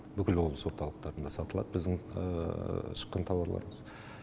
бүкіл облыс орталықтарында сатылады біздің шыққан тауарларымыз